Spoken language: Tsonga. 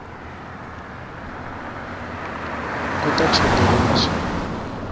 kuta chongoriwa swinene